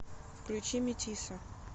включи метиса